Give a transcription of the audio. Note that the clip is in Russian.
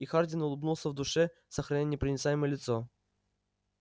и хардин улыбнулся в душе сохраняя непроницаемое лицо